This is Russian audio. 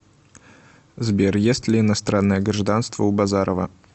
сбер есть ли иностранное гражданство у базарова